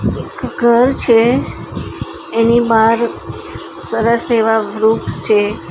એક ઘર છે એની બહાર સરસ એવા વૃક્ષ છે.